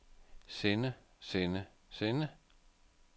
sende sende sende